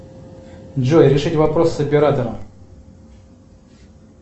джой решить вопрос с оператором